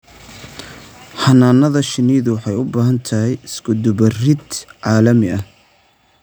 Xannaanada shinnidu waxay u baahan tahay iskudubarid caalami ah.